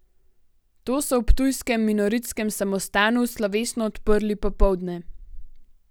To so v ptujskem minoritskem samostanu slovesno odprli popoldne.